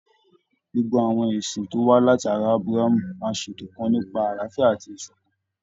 Gbogbo àwọn ẹ̀sìn tí ó wà láti ará Ábráhámù máa ṣètò kan nípa àláfíà àti ìṣọ̀kan.